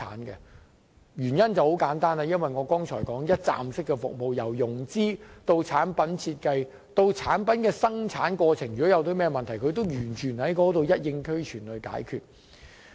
原因很簡單，就是我剛才提到的一站式服務，由融資、產品設計以至生產的情況，連同在過程中出現問題也一併解決。